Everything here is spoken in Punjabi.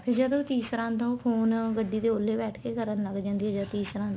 ਜਦੋਂ ਤੀਸਰਾ ਆਉਦਾ ਉਹ phone ਗੱਡੀ ਦੇ ਔਲੋ ਬੈਠਕੇ ਕਰਨ ਲੱਗ ਜਾਂਦੀ ਏ ਜਦ ਤੀਸਰਾ ਆਂਦਾ